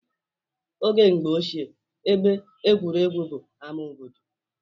Oge mgbe ochie, ebe egwuregwu bụ ama obodo